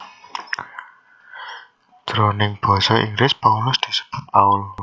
Jroning basa Inggris Paulus disebut Paul